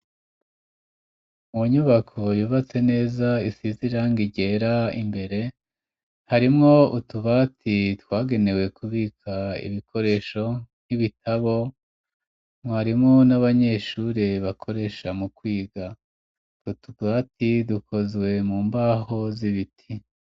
Mu nyubako yubatse neza isize irangi ryera imbere harimwo utubati twagenewe kubika ibikoresho nk'ibitabo vyarimwo n'abanyeshure bakoresha mu kwiga utubati dukozwe mu mbaho z'ibiti.